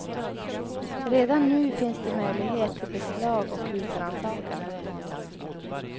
Redan nu finns det möjlighet till beslag och husrannsakan.